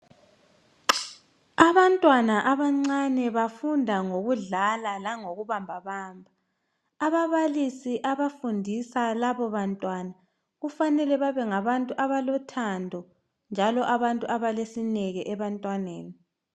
Abantwana abancane bafunda ngokudlala langokubambabamba. Ababalisi abafundisa labo bantwana kufanele babe ngabantu abalo thando njalo abantu abalesineke ebantwaneni.